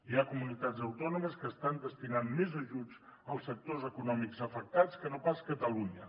hi ha comunitats autònomes que estan destinant més ajuts als sectors econòmics afectats que no pas catalunya